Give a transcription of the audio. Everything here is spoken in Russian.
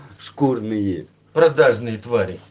шкурные продажные твари